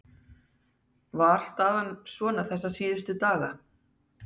Var staðan svona þessa síðustu daga?